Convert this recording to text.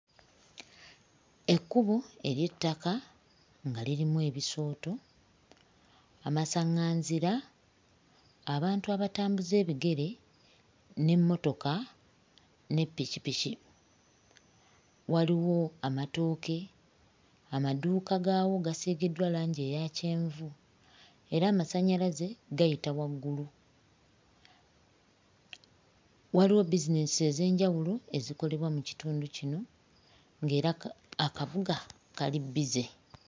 Ekkubo ery'ettaka nga lirimu ebisooto amasaŋŋanzira, abantu abatambuza ebigere n'emmotoka ne ppikippiki. Waliwo amatooke, amaduuka gaawo gasiigiddwa langi eya kyenvu era amasannyalaze gayita waggulu. Waliwo bbizineesi ez'enjawulo ezikolebwa mu kitundu kino ng'era ka akabuga kali bbize.